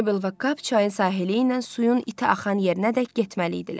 Meybl və Kap çayın sahili ilə suyun iti axan yerinədək getməli idilər.